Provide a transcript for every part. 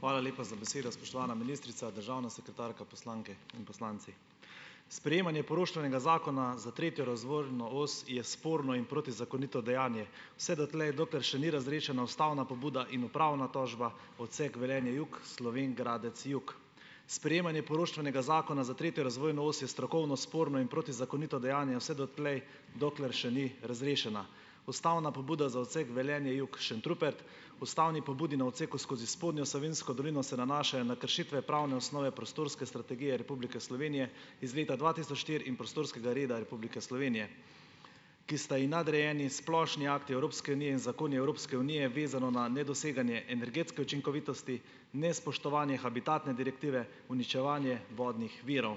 Hvala lepa za besedo. Spoštovana ministrica, državna sekretarka, poslanke in poslanci! Sprejemanje poroštvenega zakona za tretjo razvojno os je sporno in protizakonito dejanje vse dotlej, dokler še ni razrešena ustavna pobuda in upravna tožba odsek Velenje Jug, Slovenj Gradec Jug. Sprejemanje poroštvenega zakona za tretjo razvojno os je strokovno sporno in protizakonito dejanje vse dotlej, dokler še ni razrešena ustavna pobuda za odsek Velenje Jug-Šentrupert, ustavni pobudi na odseku skozi spodnjo Savinjsko dolino se nanašajo na kršitve pravne osnove prostorske strategije Republike Slovenije iz leta dva tisoč štiri in prostorskega reda Republike Slovenije, ki sta ji nadrejeni in splošni akti Evropske unije in zakoni Evropske unije, vezano na nedoseganje energetske učinkovitosti, nespoštovanje habitatne direktive, uničevanje vodnih virov.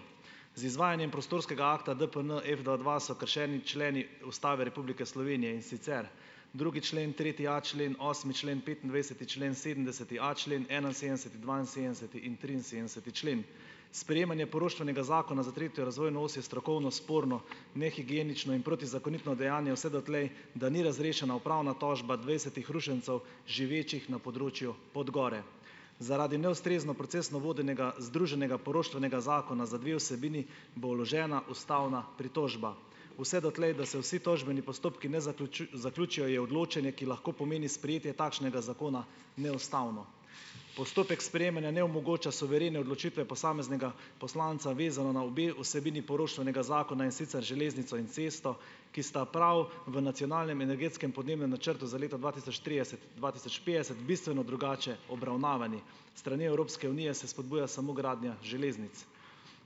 Z izvajanjem prostorskega akta DPN F dva dva so kršeni členi Ustave Republike Slovenije, in sicer drugi člen, tretji a člen, osmi člen, petindvajseti člen, sedemdeseti a člen, enainsedemdeseti, dvainsedemdeseti in triinsedemdeseti člen. Sprejemanje poroštvenega zakona za tretjo razvojno os je strokovno sporno nehigienično in protizakonito dejanje vse dotlej, da ni razrešena upravna tožba dvajsetih rušencev, živečih na področju Podgore. Zaradi neustrezno procesno vodenega združenega poroštvenega zakona za dve vsebini bo vložena ustavna pritožba vse dotlej, da se vsi tožbeni postopki ne zaključijo, je odločanje, ki lahko pomeni sprejetje takšnega zakona neustavno. Postopek sprejemanja ne omogoča suverene odločitve posameznega poslanca, vezano na obe vsebini poroštvenega zakona, in sicer železnico in cesto, ki sta prav v Nacionalnem energetskem podnebnem načrtu za leto dva tisoč trideset-dva tisoč petdeset bistveno drugače obravnavani. Strani Evropske unije se spodbuja samo gradnja železnic.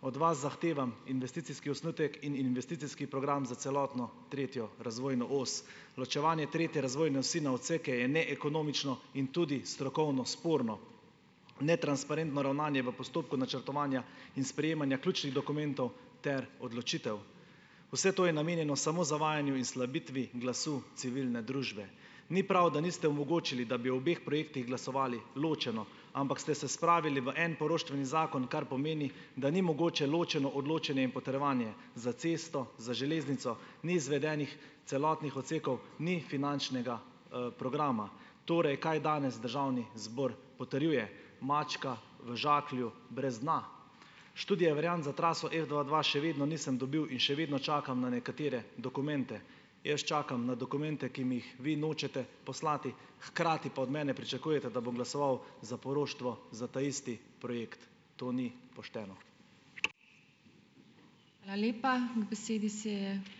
Od vas zahtevam investicijski osnutek in investicijski program za celotno tretjo razvojno os. Ločevanje tretje razvojne osi na odseke je neekonomično in tudi strokovno sporno, netransparentno ravnanje v postopku načrtovanja in sprejemanja ključnih dokumentov ter odločitev. Vse to je namenjeno samo zavajanju in slabitvi glasu civilne družbe. Ni prav, da niste omogočili, da bi o obeh projektih glasovali ločeno, ampak ste se spravili v en poroštveni zakon, kar pomeni, da ni mogoče ločeno odločanje in potrjevanje za cesto, za železnico, ni izvedenih celotnih odsekov, ni finančnega, programa. Torej, kaj danes državni zbor potrjuje? Mačka v žaklju brez dna. Študije variant za traso F dva dva še vedno nisem dobil in še vedno čakam na nekatere dokumente. Jaz čakam na dokumente, ki mi jih vi nočete poslati, hkrati pa od mene pričakujete, da bom glasoval za poroštvo za taisti projekt. To ni pošteno.